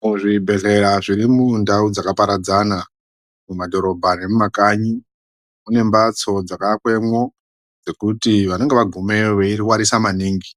Muzvibhedhlera zviri mundau dzakaparadzana mumadhorobha nemumakanyi kune mbatso dzakaakwemwo mekuti vanenge vagumeyo veirwarisa maningi